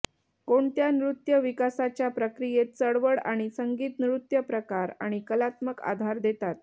कोणत्या नृत्य विकासाच्या प्रक्रियेत चळवळ आणि संगीत नृत्यप्रकार आणि कलात्मक आधार देतात